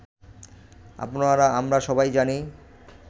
আপনারা-আমরা সবাই জানি